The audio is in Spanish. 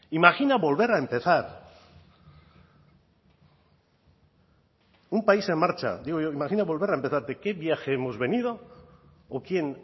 imagina volver a empezar un país en marcha digo yo imagina volver a empezar de qué viaje hemos venido o quién